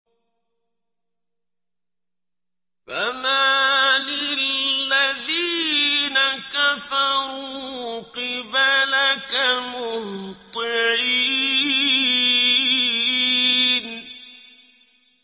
فَمَالِ الَّذِينَ كَفَرُوا قِبَلَكَ مُهْطِعِينَ